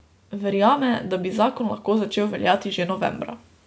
Verjame, da bi zakon lahko začel veljati že novembra.